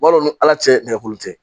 Wa n'u ala se nɛgɛ